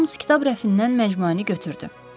Homs kitab rəfindən məcmuəni götürdü.